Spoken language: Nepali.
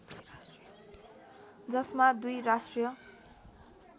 जसमा दुई राष्ट्रिय